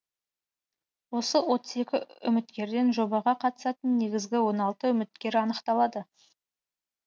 осы отыз екі үміткерден жобаға қатысатын негізгі он алты үміткер анықталады